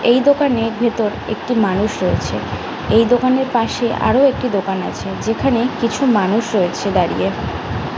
এই দোকানের ভিতর একটি মানুষ রয়েছে এই দোকানের পাশে আরো একটি দোকান আছে যেখানে কিছু মানুষ রয়েছে দাঁড়িয়ে।